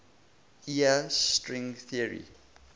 iia string theory